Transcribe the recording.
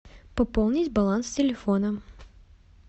пополнить баланс телефона